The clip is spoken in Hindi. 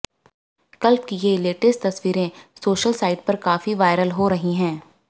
कलप की ये लेयेस्ट तस्वीरें सोशल साइट पर काफी वलायरल हो रही हैं